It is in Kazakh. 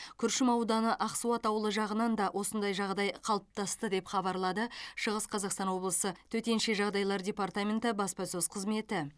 күршім ауданы ақсуат ауылы жағынан да осындай жағдай қалыптасты деп хабарлады шығыс қазақстан облысы төтенше жағдайлар департаменті баспасөз қызметі